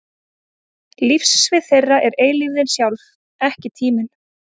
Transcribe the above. Lífssvið þeirra er eilífðin sjálf, ekki tíminn.